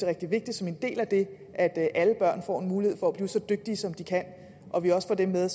rigtig vigtigt som en del af det at alle børn får mulighed for at blive så dygtige som de kan at vi også får dem med